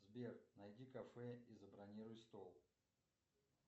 сбер найди кафе и забронируй стол